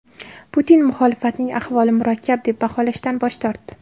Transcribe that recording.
Putin muxolifatning ahvolini murakkab deb baholashdan bosh tortdi.